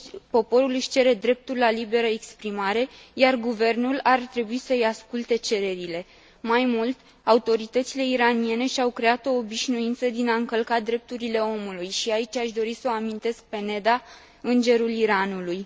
Poporul își cere dreptul la liberă exprimare, iar guvernul ar trebui să îi asculte cererile. Mai mult, autoritățile iraniene și au creat o obișnuință din a încălca drepturile omului și aici aș dori să o amintesc pe Neda, îngerul Iranului.